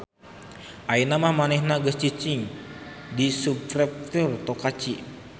Ayeuna mah manehna geus cicing di subprefektur Tokachi